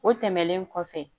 O tɛmɛnen kɔfɛ